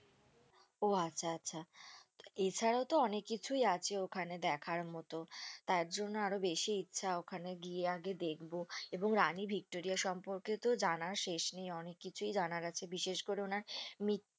ওহ আচ্ছা আচ্ছা ।এছাড়াও তো অনেককিছুই আছে ওখানে দেখার মতো তাইজন্যই আরো বেশি ইচ্ছা ওখানে গিয়ে আগে দেখবো এবং রানী ভিক্টোরিয়া সম্পর্কেতো জানার শেষ নেই অনেককিছুই জানার আছে বিশেষ করে ওনার মি